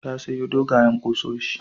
Ta sayo dogwayen ƙusoshi.